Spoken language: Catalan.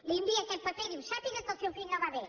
li envia aquest paper i diu sàpiga que el seu fill no va bé